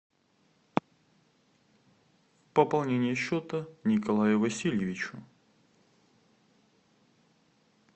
пополнение счета николаю васильевичу